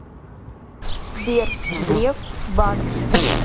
сбер греф банки